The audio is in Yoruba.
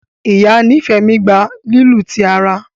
Ìyá Nifemi gbà lílu tí àrà.